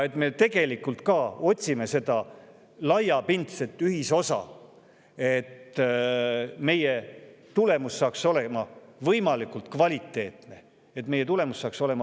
Me tegelikult ka otsime seda laiapindset ühisosa, et tulemus saaks olema võimalikult kvaliteetne.